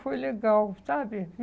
Foi legal, sabe?